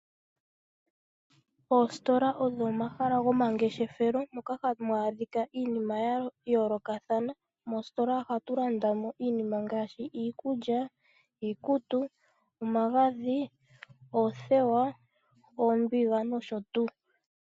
Oositola odho omahala go mangeshefelo moka hamu adhika iinima ya yoolokathana. Moositola ohatu landa mo iinima ngaashi iikulya, iikutu, omagadhi, oothewa, oombiga nosho tuu